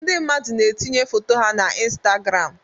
Ndị mmadụ na-etinye foto ha na Instagram